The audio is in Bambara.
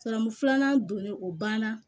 Siran filanan donnen o banna